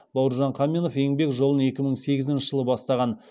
бауыржан қаменов еңбек жолын екі мың сегізінші жылы бастаған